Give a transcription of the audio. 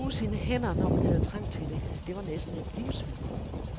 Det at bruge sine hænder, når man havde trang til det, det var næsten et livsvilkår.